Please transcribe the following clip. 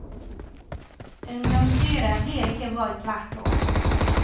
Ungdomsstyret blir ikke valgt hvert år.